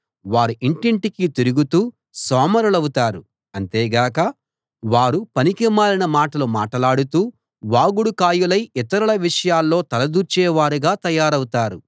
వారు ఇంటింటికీ తిరుగుతూ సోమరులవుతారు అంతేగాక వారు పనికిమాలిన మాటలు మాటలాడుతూ వాగుడుకాయలై ఇతరుల విషయాల్లో తల దూర్చేవారుగా తయారవుతారు